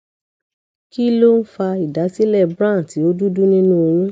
kí ló ń ń fa ìdásílẹ brown ti o dúdú nínú oyún